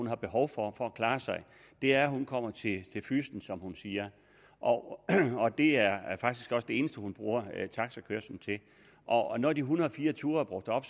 har behov for for at klare sig er at hun kommer til fyssen som hun siger og det er faktisk også det eneste hun bruger taxakørslen til og når de en hundrede og fire ture er brugt op